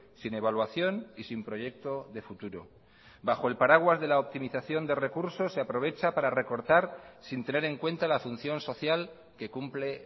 sin evaluación y sin proyecto de futuro bajo el paraguas de la optimización de recursos se aprovecha para recortar sin tener en cuenta la función social que cumple